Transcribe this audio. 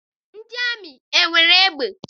Ndị amị enwere egbe?